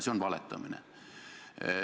See on valetamine.